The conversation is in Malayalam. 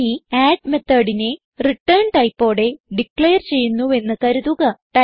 ഇനി അഡ് methodനെ റിട്ടേൺ ടൈപ്പോടെ ഡിക്ലയർ ചെയ്യുന്നുവെന്ന് കരുതുക